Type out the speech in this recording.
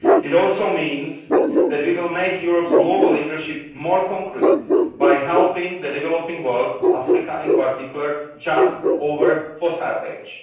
It also means that we will make Europe's global leadership more concrete by helping the developing world, Africa in particular, jump over the fossil age.